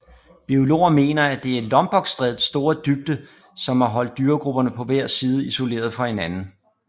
Biologer mener at det er Lombokstrædets store dybde som har holdt dyregrupperne på hver side isolerede fra hinanden